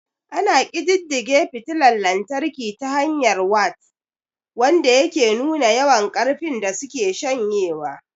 Ana ƙididdige fitila lantarki ta hanyar wat, wanda yake nuna yawan ƙarfin da suke shanyewa.